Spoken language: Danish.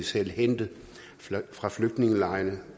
selv hente fra flygtningelejrene